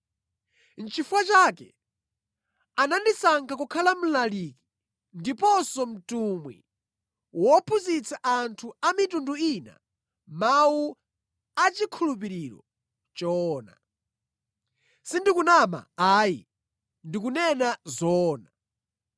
Nʼchifukwa chake anandisankha kukhala mlaliki ndiponso mtumwi wophunzitsa anthu a mitundu ina mawu achikhulupiriro choona. Sindikunama ayi, ndikunena zoona.